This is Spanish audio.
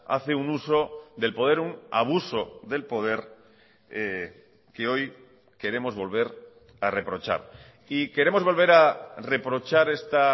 hace un uso del poder un abuso del poder que hoy queremos volver a reprochar y queremos volver a reprochar esta